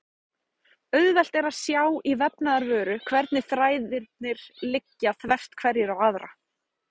Auðvelt er að sjá í vefnaðarvöru hvernig þræðirnir liggja þvert hverjir á aðra.